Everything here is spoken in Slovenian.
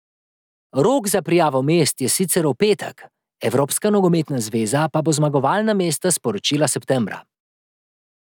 Rok za prijavo mest je sicer v petek, Evropska nogometna zveza pa bo zmagovalna mesta sporočila septembra.